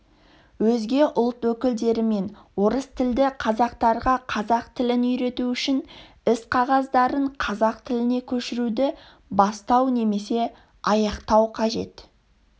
өзге ұлт өкілдері мен орыстілді қазақтарға қазақ тілін үйрету үшін іс-қағаздарын қазақ тіліне көшіруді бастау немесе аяқтау қажет